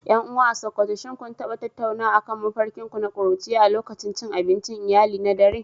Yan uwa a sokoto shin kun taba tattaunawa akan mafarkin ku na kuruciya a lokacin cin abincin iyali na dare?